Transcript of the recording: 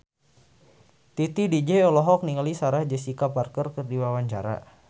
Titi DJ olohok ningali Sarah Jessica Parker keur diwawancara